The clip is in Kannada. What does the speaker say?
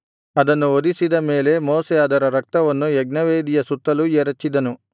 ಅದನ್ನು ವಧಿಸಿದ ಮೇಲೆ ಮೋಶೆ ಅದರ ರಕ್ತವನ್ನು ಯಜ್ಞವೇದಿಯ ಸುತ್ತಲೂ ಎರಚಿದನು